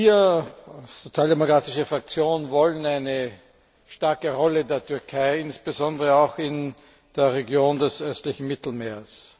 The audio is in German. Wir als Sozialdemokratische Fraktion wollen eine starke Rolle der Türkei insbesondere auch in der Region des östlichen Mittelmeers.